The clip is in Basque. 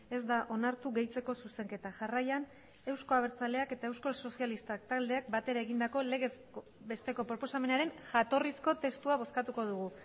ez da onartu gehitzeko zuzenketa jarraian euzko abertzaleak eta euskal sozialistak taldeak batera egindako legez besteko proposamenaren jatorrizko testua bozkatuko dugu